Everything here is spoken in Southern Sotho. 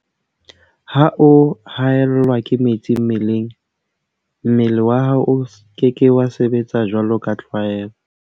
Ha o haellwa ke metsi mmeleng, mmele wa hao o ke ke wa sebetsa jwaloka tlwaelo.